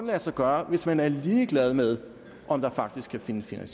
lade sig gøre hvis man er ligeglad med om der faktisk kan findes en